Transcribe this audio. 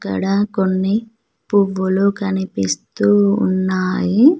అక్కడ కొన్ని పువ్వులు కనిపిస్తూ ఉన్నాయి.